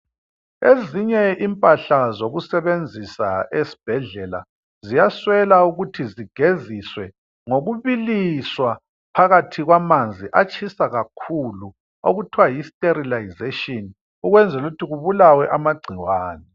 Ezinye impahla zokusebenzisa esibhedlela ziyaswela ukuthi zigeziswe ngokubiliswa phakathi kwamanzi atshisa kakhulu okuthiwa yi sterilisation ukwela ukuthi kubulawe amagcikwane.